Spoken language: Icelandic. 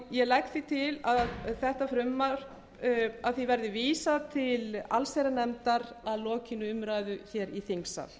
ég legg til að þessu frumvarpi verði vísað til allsherjarnefndar að lokinni umræðu hér í þingsal